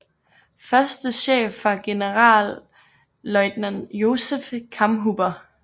Første chef var Generalleutnant Josef Kammhuber